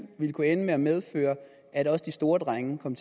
ville kunne ende med at medføre at også de store drenge kom